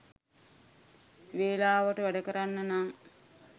වෙලාවට වැඩකරන්න නං